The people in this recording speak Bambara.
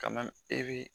Ka na e bi